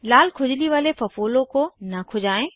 लाल खुजली वाले फफोले को न खुजायें